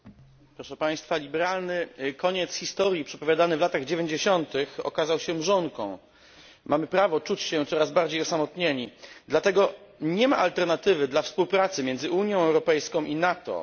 Panie przewodniczący! Liberalny koniec historii przepowiadany w latach dziewięćdziesiątych okazał się mrzonką. Mamy prawo czuć się coraz bardziej osamotnieni. Dlatego nie ma alternatywy dla współpracy między Unią Europejską i NATO.